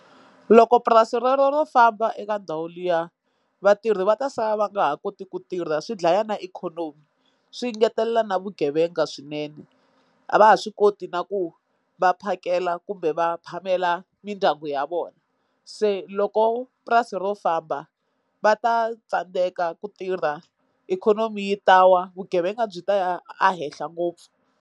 Loko purasi rero ro famba eka ndhawu liya vatirhi va ta sala va nga ha koti ku tirha swidlaya na ikhonomi swi ngetelela na vugevenga swinene a va ha swi koti na ku vaphasi kela kumbe va phamela mindyangu ya vona se loko purasi ro famba va ta tsandeka ku tirha ikhonomi yi ta wa vugevenga byi ta ya a henhla ngopfu.